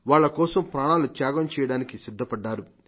వాళ్ల కోసం ప్రాణాలు త్యాగం చేయడానికి సిద్ధపడ్డారు